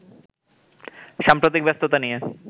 সাম্প্রতিক ব্যস্ততা নিয়ে